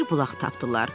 Bir bulaq tapdılar.